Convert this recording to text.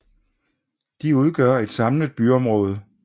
De udgør et samlet byområde med